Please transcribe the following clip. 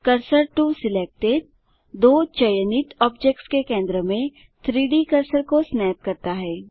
cursor to selected दो चयनित objects के केंद्र में 3Dकर्सर को स्नैप करता है